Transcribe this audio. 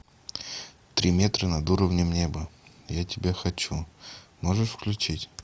три метра над уровнем неба я тебя хочу можешь включить